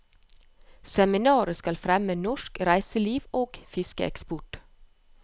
Seminaret skal fremme norsk reiseliv og fiskeeksport.